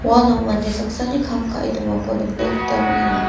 uano mande saksani kam ka·e dongako nikna gita man·enga.